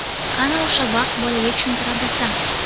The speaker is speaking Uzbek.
Qani o‘sha vaqt bolaga tushuntira bilsam.